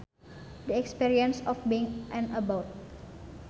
The experience of being an abbot